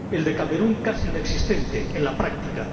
El de Camerún casi inexistente en la práctica.